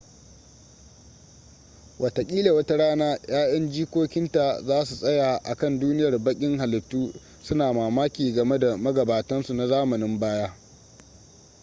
wataƙila wata rana 'ya'yan jikokinka za su tsaya a kan duniyar baƙin halittu suna mamaki game da magabatansu na zamanin baya